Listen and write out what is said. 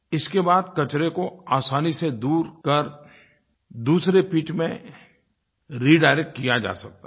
इसके बाद कचरे को आसानी से दूर कर दूसरे पिट में रिडायरेक्ट किया जा सकता है